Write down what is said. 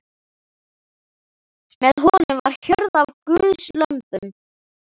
Með honum var hjörð af guðslömbum.